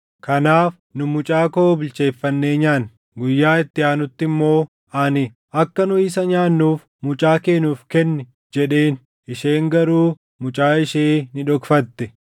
Kanaaf nu mucaa koo bilcheeffannee nyaanne. Guyyaa itti aanutti immoo ani, ‘Akka nu isa nyaannuuf mucaa kee nuuf kenni’ jedheen. Isheen garuu mucaa ishee ni dhokfatte.”